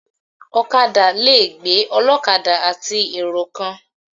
Ọ̀kadà le gbé ọlọ́kadà àti èrò kan.